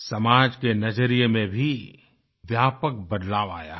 समाज के नज़रिये में भी व्यापक बदलाव आया है